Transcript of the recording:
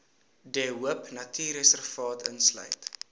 de hoopnatuurreservaat insluit